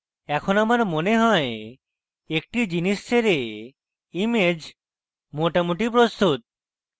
এখন আমার মনে হয় একটি জিনিস ছেড়ে image মোটামুটি প্রস্তুত